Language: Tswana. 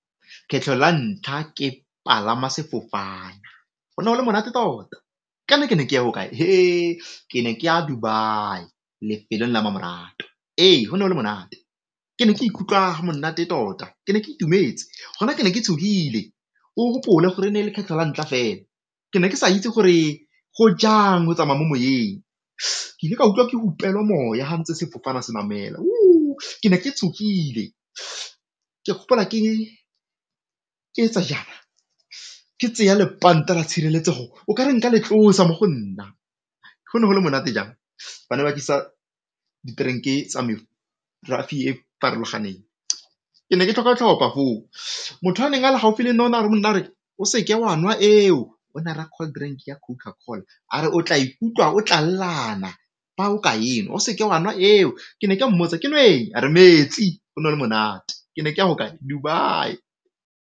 Kgetlho la ntlha ke palama sefofana go ne go le monate tota, ka ne ke ne ke ya ko kae ke ne ke ya Dubai, lefelo la mmamoratwa. Ee, go ne go le monate ke ne ka ikutlwa monate tota, ke ne ke itumetse gona ke ne ke tshogile. O gopole gore e ne e le kgetlho la ntlha fela ke ne ke sa itse gore go jang go tsamaya mo moyeng, ke ile ka utlwa ke hupelwa moya ga ntse sefofane se namela ke ne ke tshogile ke gopola ke etsa jaana, ke tseya lepanta la tshireletsego o ka re nka le tlosa mo go nna. Go ne go le monate jang, ba ne ba tlisa di-drink tsa merafe e farologaneng ke ne ke tlhopha-tlhopha foo. Motho a neng a le gaufi le nna o ne a re go nna gore a re o seke wa nwa eo cold-drink ya Coca-Cola a re o tla ikutlwa o tlallana fa o ka enwa, o se ke wa nwa eo ke ne ke mmotsa ke nweng? a re metsi. Go ne go le monate ke ne ke ya ho kae? Dubai.